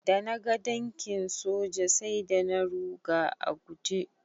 Da naga tankin soja sai da na ruga a guje.